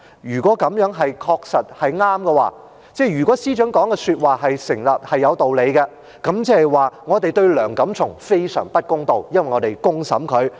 如果這樣是正確，即如果司長的說話成立，是有道理，即是我們對梁錦松非常不公道，因為我們公審他。